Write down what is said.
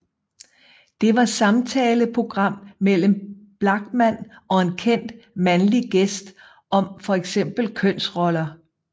Det var samtaleprogram mellem Blachman og en kendt mandlig gæst om for eksempel kønsroller